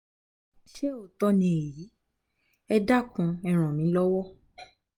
ṣé òótọ́ ni èyí? ẹ dákun e ràn mí lọ́wọ́